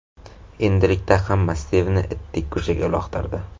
Endilikda hamma Stivni itdek ko‘chaga uloqtirdi.